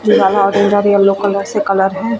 ये वाला ऑरेंज और यल्लो कलर से पेंट है।